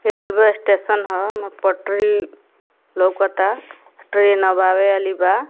Railway station ह म पटरी लउकता ट्रैन आवे वाली बा।